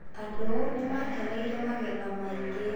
Andũ nĩ maakeneire magetha maingĩ.